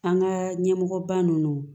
An ka ɲɛmɔgɔ ba nunnu